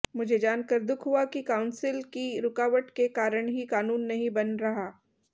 मुझे जानकर दुख हुआ कि काऊंसिल की रुकावट के कारण ही कानून नहीं बन रहा